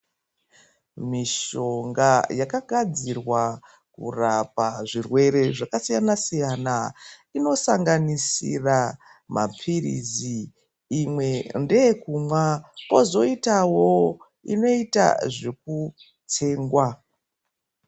Misonga yakagadzirwa kurapa zvirwere zvakasiyana siyana inosanganisira mapirizi imwe ndeyekumwa kozoitawo inoita zvekutsengwa.